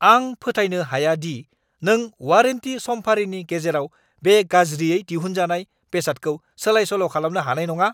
आं फोथायनो हाया दि नों वारेन्टी समफारिनि गेजेराव बे गाज्रियै दिहुनजानाय बेसादखौ सोलाय-सोल' खालामनो हानाय नङा!